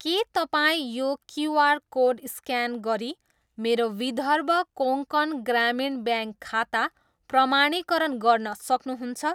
के तपाईँ यो क्युआर कोड स्क्यान गरी मेरो विदर्भ कोङ्कण ग्रामीण ब्याङ्क खाता प्रमाणीकरण गर्न सक्नुहुन्छ?